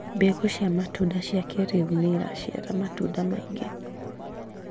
Mbegũ cia matunda cia kĩrĩu nĩiraciara matunda maingĩ